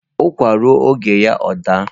Ukwa ruo oge ya o da